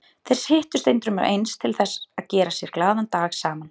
Þeir hittust endrum og eins til þess að gera sér glaðan dag saman.